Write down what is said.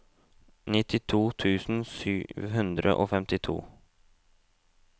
nittito tusen sju hundre og femtito